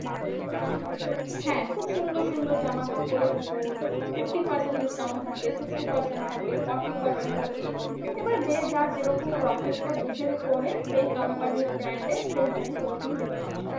হ্যাঁ খুব সুন্দর সুন্দর জামাকাপড়ের উপর fifty percent discount থাকে, sixty percent থাকে, forty percent থাকে। এবার যে যার যেরকম profit টা বুঝে করে সেই company র brand এর সেখানে সেরকম discount.